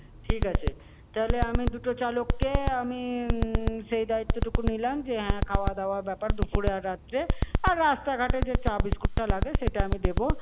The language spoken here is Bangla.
ঠিক আছে, তাহলে আমি দুটো চালক কে আমি উম সেই দায়িত্বটুকু নিলাম যে, হ্যাঁ খাওয়া-দাওয়া এর ব্যাপার দুপুর-এ আর রাত্রে আর রাস্তাঘাট-এ যে চা-বিস্কুটটা লাগে সেটা আমি দেবো।